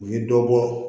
U ye dɔ bɔ